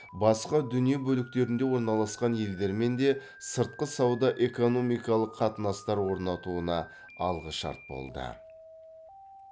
басқа дүние бөліктерінде орналасқан елдермен де сыртқы сауда экономикалық қатынастар орнатуына алғышарт болды